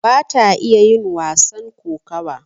bata iya yin wasan kokawa